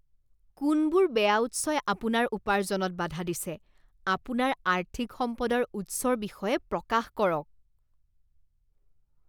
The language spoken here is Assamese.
কোনবোৰ বেয়া উৎসই আপোনাৰ উপাৰ্জনত বাধা দিছে? আপোনাৰ আৰ্থিক সম্পদৰ উৎসৰ বিষয়ে প্ৰকাশ কৰক।